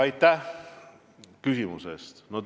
Aitäh küsimuse eest!